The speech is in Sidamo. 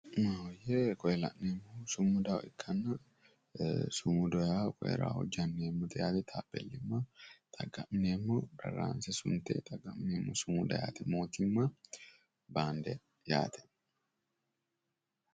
Koye la'neemmohu sumuda ikkanna, sumuda yaa raaho janneemmote taapeellimma xaqqa'mineemmo raati. sumuda mootimma baandeeti yaate.